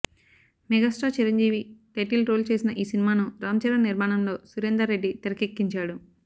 megastar Chiranjeevi title role చేసిన ఈ సినిమాను రామ్ చరణ్ నిర్మాణంలో సురేందర్ రెడ్డి తెరకెక్కించాడు